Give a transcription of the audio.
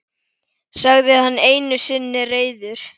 sagði hann einu sinni reiður.